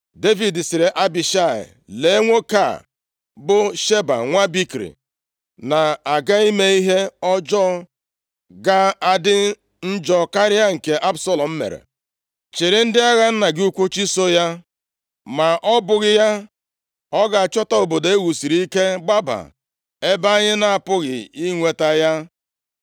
Devid sịrị Abishai, “Lee nwoke a bụ Sheba nwa Bikri na-aga ime ihe ọjọọ ga-adị njọ karịa nke Absalọm mere. Chịrị ndị agha nna gị ukwu chụso ya, ma ọ bụghị ya, ọ ga-achọta obodo e wusiri ike gbaba, ebe anyị na-apụghị inweta ya.”